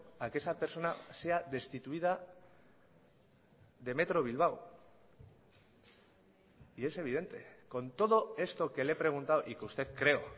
a que esa persona sea destituida de metro bilbao y es evidente con todo esto que le he preguntado y que usted creo